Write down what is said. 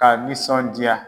K'a nisɔndiya